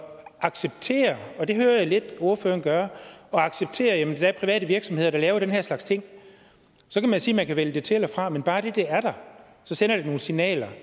acceptere og det hører jeg lidt ordføreren gøre private virksomheder der laver den her slags ting så kan man sige at man kan vælge det til eller fra men bare det at det er der sender jo nogle signaler